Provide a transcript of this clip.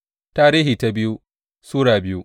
biyu Tarihi Sura biyu